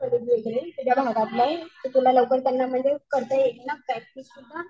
तर ते बोलले प्रॅक्टिस सुद्धा